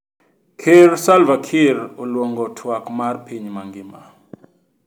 Ker Salva Kiir oluongo twak mar piny mangima